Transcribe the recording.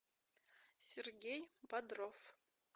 сергей бодров